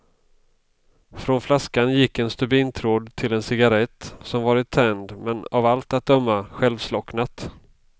Från flaskan gick en stubintråd till en cigarrett, som varit tänd men av allt att döma självslocknat.